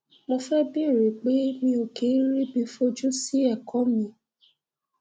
mo fẹ bèèrè pé mi ò kí ń ríbi fojú sí ẹkọ mi